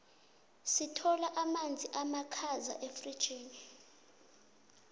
sithola amazi abakhaza efrigini